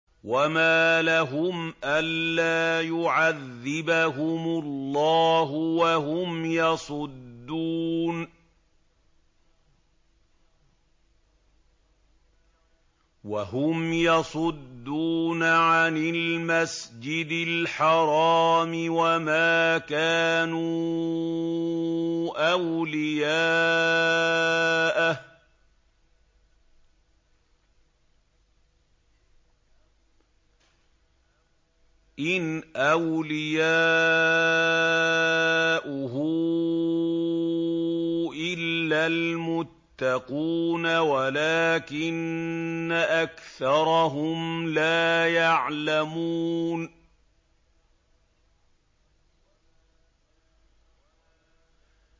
وَمَا لَهُمْ أَلَّا يُعَذِّبَهُمُ اللَّهُ وَهُمْ يَصُدُّونَ عَنِ الْمَسْجِدِ الْحَرَامِ وَمَا كَانُوا أَوْلِيَاءَهُ ۚ إِنْ أَوْلِيَاؤُهُ إِلَّا الْمُتَّقُونَ وَلَٰكِنَّ أَكْثَرَهُمْ لَا يَعْلَمُونَ